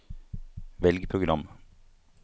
velg program